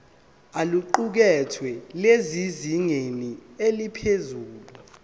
oluqukethwe lusezingeni eliphezulu